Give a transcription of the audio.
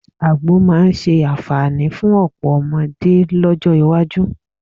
Àgbò máa ṣe àǹfààní fún ọ̀pọ̀ ọmọdé lọ́jọ́ iwájú